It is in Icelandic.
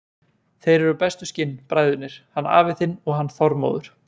Þeir eru bestu skinn, bræðurnir, hann afi þinn og hann Þormóður.